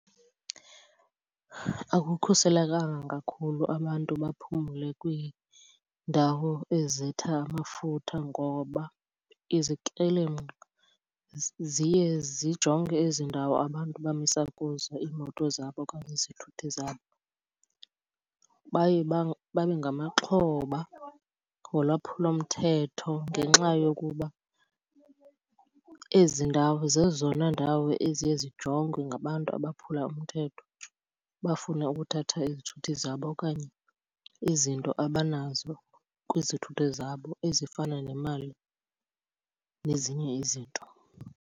Akukhuselekanga kakhulu abantu baphumle kwiindawo ezitha amafutha ngoba izikrelemnqa ziye zijonge ezi ndawo abantu bamisa kuzo iimoto zabo okanye izithuthi zabo. Baye babe ngamaxhoba yolwaphulomthetho ngenxa yokuba ezi ndawo zezona ndawo eziye zijongwe ngabantu abaphula umthetho, bafune ukuthatha izithuthi zabo okanye izinto abanazo kwizithuthi zabo ezifana nemali nezinye izinto.